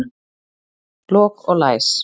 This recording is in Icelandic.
Lok og læs.